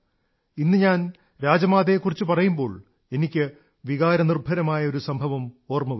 ഇന്ന് ഞാൻ രാജമാതായെക്കുറിച്ചു പറയുമ്പോൾ എനിക്ക് വികാരനിർഭരമായ ഒരു സംഭവം ഓർമ്മ വരുന്നു